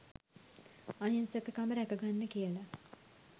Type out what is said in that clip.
අහිංසක කම රැක ගන්න කියලා